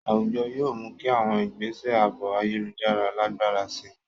Àwùjọ yóò mú kí àwọn ìgbésẹ̀ ààbò ayélujára lágbára sí i.